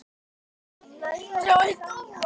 Við getum selt hann.